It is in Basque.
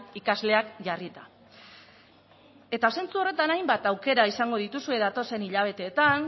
ikasleak jarrita eta zentzu horretan hainbat aukera izango dituzue datozen hilabeteetan